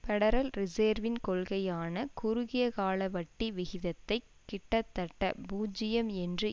federal ரிசேர்வின் கொள்கையான குறுகிய கால வட்டி விகிதத்தை கிட்டத்தட்ட பூஜ்யம் என்று